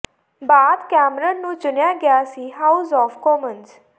ਬਾਅਦ ਕੈਮਰਨ ਨੂੰ ਚੁਣਿਆ ਗਿਆ ਸੀ ਹਾਊਸ ਆਫ ਕਾਮਨਜ਼